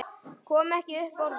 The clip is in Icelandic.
Kom ekki upp orði.